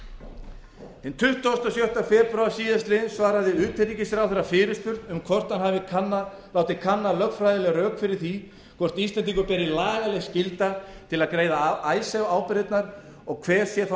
hinn tuttugasta og sjötta febrúar síðastliðinn svaraði utanríkisráðherra fyrirspurn um hvort hann hafi látið kanna lögfræðileg rök fyrir því hvort íslendingum beri lagaleg skylda til að greiða icesave ábyrgðirnar og hver sé þá